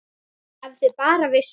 Ef þau bara vissu!